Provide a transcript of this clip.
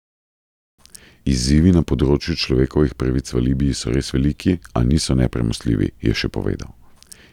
Izzivi na področju človekovih pravic v Libiji so res veliki, a niso nepremostljivi, je še povedal.